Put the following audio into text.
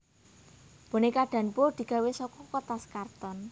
Bonéka Danbo digawé saka kertas karton